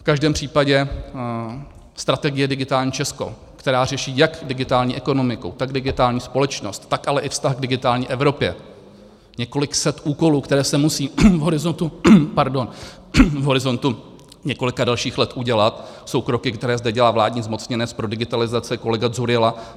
V každém případě strategie Digitální Česko, která řeší jak digitální ekonomiku, tak digitální společnost, tak ale i vztah k digitální Evropě, několik set úkolů, které se musí v horizontu několika dalších let udělat, jsou kroky, které zde dělá vládní zmocněnec pro digitalizaci kolega Dzurilla.